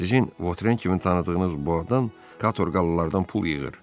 Sizin Votren kimi tanıdığınız bu adam katorqallılardan pul yığır.